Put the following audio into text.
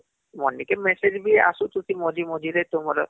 ମଂଦିକେ message ବି ଆସୁଛୁ କି ମଝି ମଝିରେ କି ତୁମର